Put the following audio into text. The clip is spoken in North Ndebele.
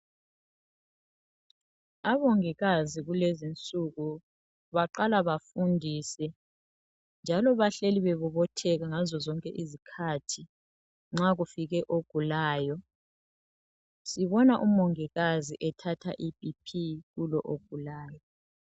Omongikazi kulezinsuku baqala befundise, njalo bahleli bebobotheka ngazo zonke izikhathi nxa kufike ogulayo. Sibona umongikazi ethatha iB.P kulo ogulayo.